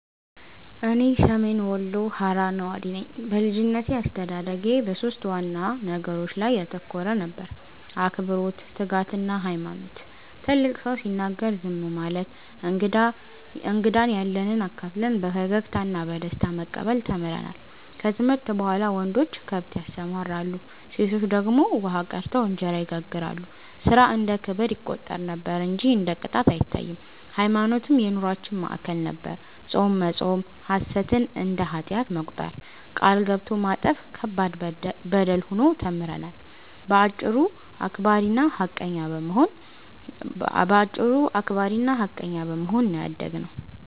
እኔ ሰሜን ወሎ ሃራ ነዋሪ ነኝ። በልጅነቴ አስተዳደጌ በሦስት ዋና ነገሮች ላይ ያተኮረ ነበር፤ አክብሮት፣ ትጋትና ሃይማኖት። ትልቅ ሰው ሲናገር ዝም ማለት፣ እንግዳን ያለንብ አካፍለን በፈገግታ እና በደስታ መቀበል ተምረናል። ከትምህርት በኋላ ወንዶች ከብት ያሰማራሉ፣ ሴቶች ደግሞ ውሃ ቀድተው እንጀራ ይጋግራሉ፤ ሥራ እንደ ክብር ይቆጠር ነበር እንጂ እንደ ቅጣት አይታይም። ሃይማኖትም የኑሮአችን ማዕከል ነበር፤ ጾም መጾም፣ ሐሰትን እንደ ኃጢአት መቁጠር፣ ቃል ገብቶ ማጠፍ ከባድ በደል ሆኖ ተምረናል። በአጭሩ አክባሪና ሃቀኛ በመሆን ነው ያደግነው።